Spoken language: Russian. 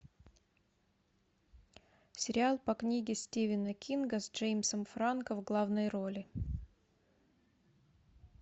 сериал по книге стивена кинга с джеймсом франко в главной роли